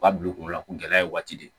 U ka bila u kunkolo la ko gɛlɛya ye waati de ye